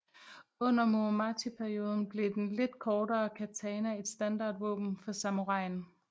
Under Muromachi perioden blev den lidt kortere katana et standardvåben for samuraien